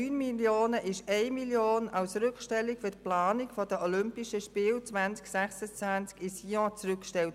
Von diesen 9 Mio. Franken wurden 1 Mio. Franken für die Planung der Olympischen Spiele 2026 in Sion zurückgestellt.